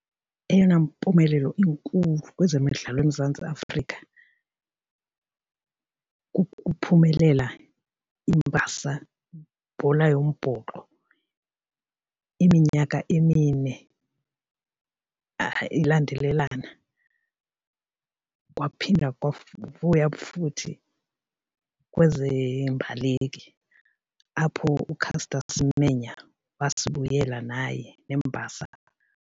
Eyona mpumelelo inkulu kwezemidlalo eMzantsi Afrika kukuphumelela iimbasa ibhola yombhoxo iminyaka emine ilandelelana kwaphinda futhi kwezeembaleki apho uCaster Semenya wasibuyisela naye neembasa.